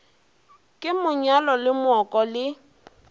ke monyalo le mooko le